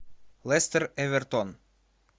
лестер эвертон